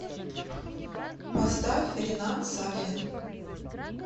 поставь ринат сафин